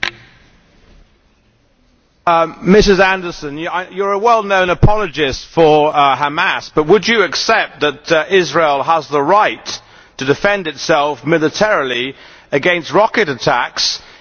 Ms Anderson, you are a well known apologist for Hamas, but would you not accept that Israel has the right to defend itself militarily against rocket attacks, even by military means if necessary?